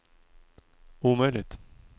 omöjligt